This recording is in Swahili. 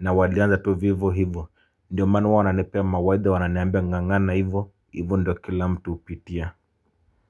na walianza tu vivo hivo ndio manu wananepea mawaidha wananeambia ngangana hivo hivo ndio kila mtu upitia.